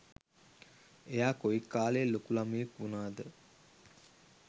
එයා කොයි කාලෙ ලොකු ළමයෙක් වුනාද